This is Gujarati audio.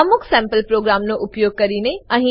અમુક સેમ્પલ પ્રોગ્રામોનો ઉપયોગ કરીને